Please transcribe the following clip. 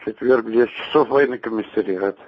четверг в десять часов военный комиссариат